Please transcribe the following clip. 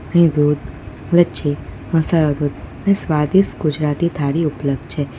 અહીં દૂધ લચ્છી મસાલા દૂધ અને સ્વાદિષ્ટ ગુજરાતી થાળી ઉપલબ્ધ છે.